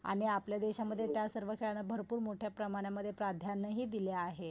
आणि आपल्या देशात त्या सर्व खेळणं भरपूर मोठ्या प्रमाणानामध्ये प्राधान्य हि दिले आहे.